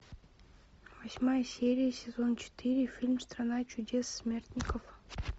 восьмая серия сезон четыре фильм страна чудес смертников